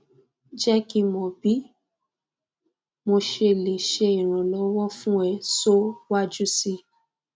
je ki mo bi mosele se iranlowo fun e so waju si